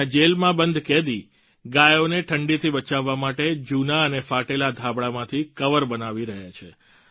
ત્યાં જેલમાં બંધ કેદી ગાયોને ઠંડીથી બચાવવા માટે જૂના અને ફાટેલા ધાબળાંમાંથી કવર બનાવી રહ્યા છે